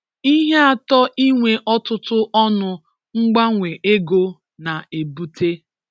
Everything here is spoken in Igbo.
Ihe atọ inwe ọtụtụ ọnụ mgbanwe ego na-ebute